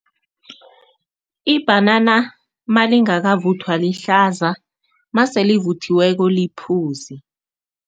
Ibhanana malingakavuthwa lihlaza, maselivuthiweko liphuzi.